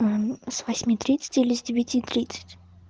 с восьми тридцать или с девяти тридцать